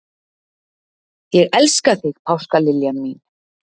Ég elska þig, páskaliljan mín.